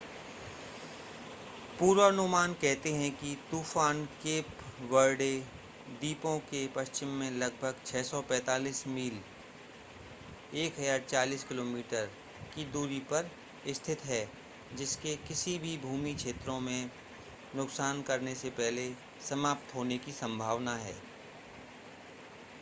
पूर्वानुमान कहते हैं कि यह तूफ़ान केप वर्डे द्वीपों के पश्चिम में लगभग 645 मील 1040 किमी की दूरी पर स्थित है जिसके किसी भी भूमि क्षेत्रों में नुकसान करने से पहले समाप्त होने की संभावना है